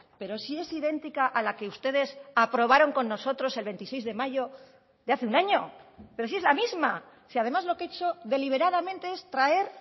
pero si es idéntica a la que ustedes aprobaron con nosotros el veintiséis de mayo de hace un año pero si es la misma si además lo que he hecho deliberadamente es traer